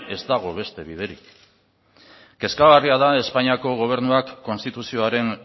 ez dago beste biderik kezkagarria da espainiako gobernuak konstituzioaren